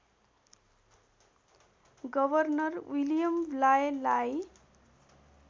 governor William ब्लायलाई